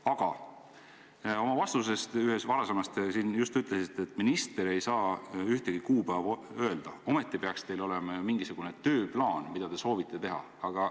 Aga ühes oma varasemas vastuses te just ütlesite, et minister ei saa ühtegi kuupäeva öelda, ometi peaks teil olema ju mingisugune tööplaan, mida te soovite teha.